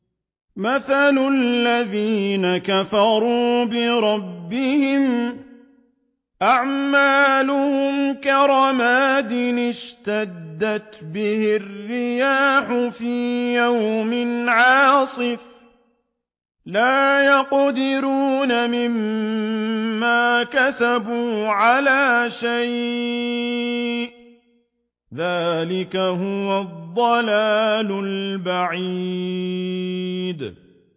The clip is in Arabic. مَّثَلُ الَّذِينَ كَفَرُوا بِرَبِّهِمْ ۖ أَعْمَالُهُمْ كَرَمَادٍ اشْتَدَّتْ بِهِ الرِّيحُ فِي يَوْمٍ عَاصِفٍ ۖ لَّا يَقْدِرُونَ مِمَّا كَسَبُوا عَلَىٰ شَيْءٍ ۚ ذَٰلِكَ هُوَ الضَّلَالُ الْبَعِيدُ